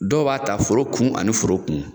Dɔw b'a ta foro kun ani foro kun